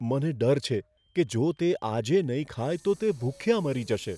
મને ડર છે કે જો તે આજે નહીં ખાય તો તે ભૂખ્યા મરી જશે.